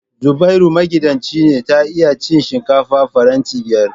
Zubairu magidanci ce ta iya cin shinkafa faranti biyar